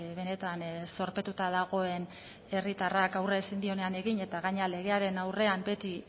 benetan zorpetuta dagoen herritarrak aurrea ezin dionean egin eta gainera legearen aurrean beti